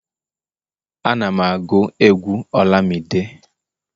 Ana'm agụ egwu olamide